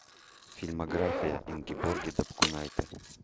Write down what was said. фильмография ингеборги дапкунайте